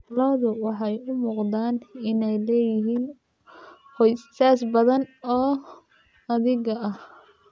Lo'du waxay u muuqdaan inay leeyihiin qoysas badan oo adhiga ah.